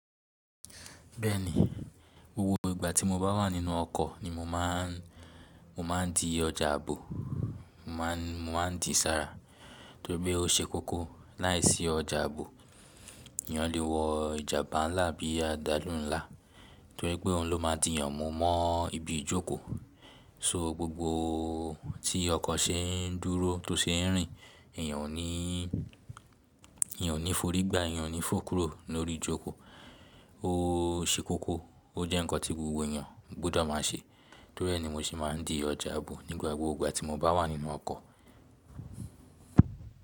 Bẹ́ẹ̀ni, gbogbo ìgbà tí mo bá wà nínú ọkọ̀ ni mo máà ń, mo má ń di ọjà ààbò, mo ma ń di sára torí pé ó ṣe kókó láìsí ọjà ààbò. Èèyàn le wọ ìjàpá ńlá bí i ajalu ńlá torí pé òun lo máa di èèyàn mu mọ́ ibi ìjókòó. So gbogbo tí ọkọ̀ ṣe ń dúró tó ṣe ń rìn, èèyàn ò ní, èèyàn ò ní forigba, èèyàn ò ní fókúró lórí ìjókòó. Ó ṣe kókó, ó jẹ́ ǹkan tí gbogbo èèyàn gbọ́dọ̀ máa ṣe. Torí ẹ́ ni mo sì máa ń di ọjà ààbò nígbà gbogbo ìgbà tí mo bá wà nínú ọkọ̀.